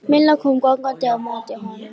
Milla kom gangandi á móti honum.